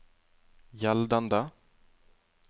gjeldende